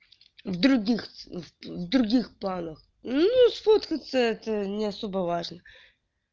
в других в других планах ну сфоткаться это не особо важно